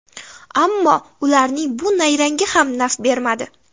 Ammo ularning bu nayrangi ham naf bermadi.